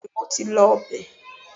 bẹẹni mo ti lọ bẹ